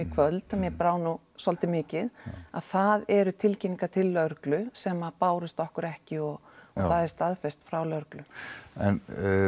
kvöld mér brá nú svolítið mikið að það eru tilkynningar til lögreglu sem að bárust okkur ekki og það er staðfest frá lögreglu en